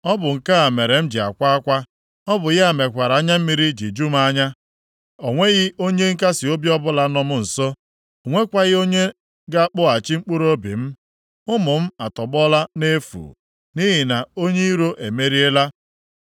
“Ọ bụ nke a mere m ji akwa akwa. Ọ bụ ya mekwara anya mmiri ji ju m anya. O nweghị onye nkasiobi ọbụla nọ m nso; o nwekwaghị onye ga-akpọghachi mkpụrụobi m. Ụmụ m atọgbọla nʼefu, nʼihi na onye iro emeriela.”